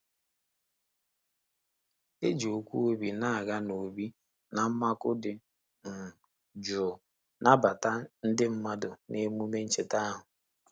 E ji okwu obi na-aga n'óbì na mmakụ dị um jụụ nabata ndị mmadụ n'emume ncheta ahụ.